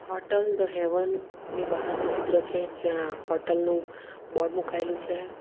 Hotel the Haven ની બહારનું ચિત્ર છે જ્યાં હોટલ નું બોર્ડ મુકાયેલું છે.